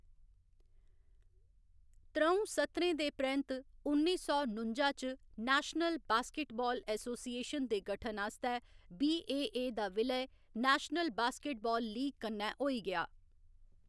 त्रऊं सत्रें दे परैंत्त, उन्नी सौ नुंजा च, नेशनल बास्केटबाल एसोसिएशन दे गठन आस्तै बीएए दा विलय नेशनल बास्केटबाल लीग कन्नै होई गेआ।